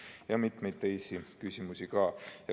On ka mitmeid teisi küsimusi.